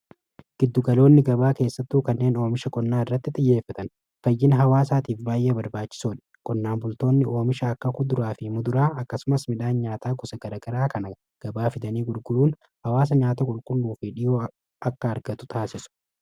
giddu galoonni gabaa keessattuu kanneen oomisha qonnaa irratti xiyyeeffatan fayyina hawaasaatiif baay'ee barbaachisoodha qonnaan bultoonni oomisha akka kuduraa fi muduraa akkasumas midhaan nyaataa gosa garagaraa kana gabaa fidanii gurguruun hawaasa nyaata qulqulluu fi dhiyoo akka argatu taasisu